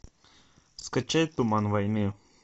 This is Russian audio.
скачай туман войны